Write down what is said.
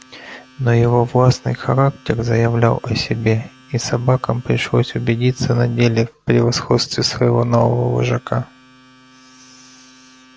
но его властный характер заявлял о себе и собакам пришлось убедиться на деле в превосходстве своего нового вожака